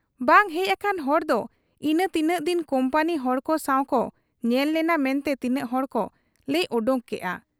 ᱵᱟᱝ ᱦᱮᱡ ᱟᱠᱟᱱ ᱦᱚᱲᱫᱚ ᱤᱱᱟᱹ ᱛᱤᱱᱟᱹᱜ ᱫᱤᱱ ᱠᱩᱢᱯᱟᱹᱱᱤ ᱦᱚᱲᱠᱚ ᱥᱟᱶᱠᱚ ᱧᱮᱞ ᱞᱮᱱᱟ ᱢᱮᱱᱛᱮ ᱛᱤᱱᱟᱹᱜ ᱦᱚᱲᱠᱚ ᱞᱟᱹᱭ ᱚᱰᱚᱠ ᱠᱮᱜ ᱟ ᱾